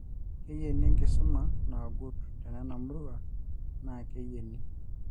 keyieni enkisuma naagut tena murua na keyieni